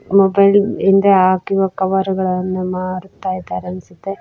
Mobile ಹಿಂದೆ ಹಾಕಿರೋ cover ಗಳನ್ನು ಮಾರುತ್ತಾ ಇದ್ದಾರೆ ಅನ್ಸುತ್ತೆ.